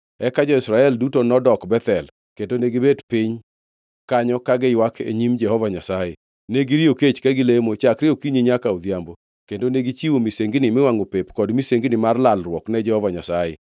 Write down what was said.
Eka jo-Israel duto nodok Bethel, kendo negibet piny kanyo ka giywak e nyim Jehova Nyasaye. Ne giriyo kech ka gilemo chakre okinyi nyaka odhiambo kendo negichiwo misengini miwangʼo pep kod misengini mar lalruok ne Jehova Nyasaye.